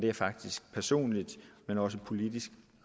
jeg faktisk personligt men også politisk